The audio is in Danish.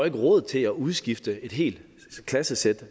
ikke råd til at udskifte et helt klassesæt